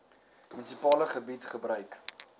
munisipale gebied gebruik